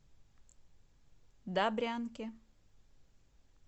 добрянке